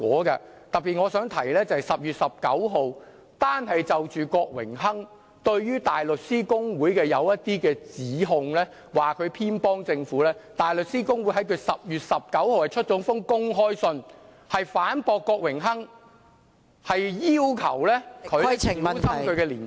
我特別想提到的是，就郭榮鏗議員對於大律師公會所作的一些指控，說它偏幫政府，大律師公會在10月19日發表了一封公開信，反駁郭議員，要求他小心其言論......